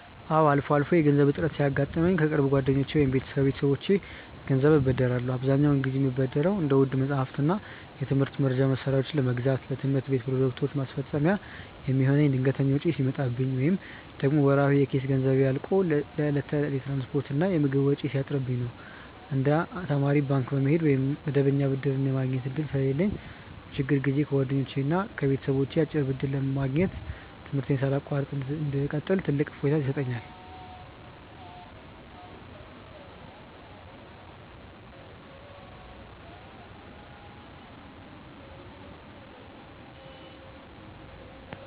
አዎ፣ አልፎ አልፎ የገንዘብ እጥረት ሲያጋጥመኝ ከቅርብ ጓደኞቼ ወይም ከቤተሰቦቼ ገንዘብ እበደራለሁ። አብዛኛውን ጊዜ የምበደረው እንደ ውድ መጻሕፍትና የትምህርት መርጃ መሣሪያዎችን ለመግዛት፣ ለትምህርት ቤት ፕሮጀክቶች ማስፈጸሚያ የሚሆን ድንገተኛ ወጪ ሲመጣብኝ፣ ወይም ደግሞ ወርሃዊ የኪስ ገንዘቤ አልቆ ለዕለት ተዕለት የትራንስፖርትና የምግብ ወጪ ሲያጥርብኝ ነው። እንደ ተማሪ ባንክ የመሄድ ወይም መደበኛ ብድር የማግኘት ዕድሉ ስለሌለኝ፣ በችግር ጊዜ ከጓደኛና ከቤተሰብ አጭር ብድር ማግኘት ትምህርቴን ሳላቋርጥ እንድቀጥል ትልቅ እፎይታ ይሰጠኛል።